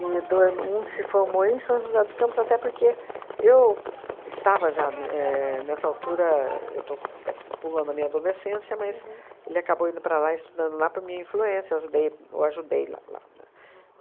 E doi um se formou em São José dos Campos até porque eu estava já éh nessa altura, eu estou até p pulando a minha adolescência, mas ele acabou indo para lá estudando lá por minha influência, eu ajudei o ajudei lá lá, né?